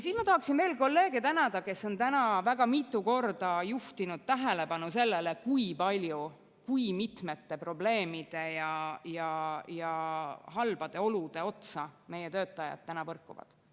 Ma tahaksin tänada kolleege, kes on täna väga mitu korda juhtinud tähelepanu sellele, kui mitmete probleemide ja halbade oludega meie töötajad põrkuvad.